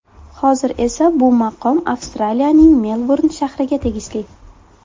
Hozir esa bu maqom Avstraliyaning Melburn shahriga tegishli.